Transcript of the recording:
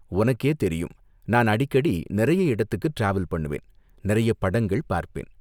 உனக்கே தெரியும், நான் அடிக்கடி நிறைய இடத்துக்கு டிராவல் பண்ணுவேன், நிறைய படங்கள் பார்ப்பேன்.